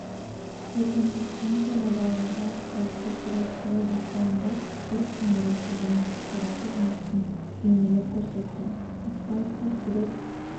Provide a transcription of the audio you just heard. екінші станцияда балаларға асфальтта сурет салу байқауында өрт сөндіруші және құтқарушы жұмысын бейнелеп көрсетті асфальтта сурет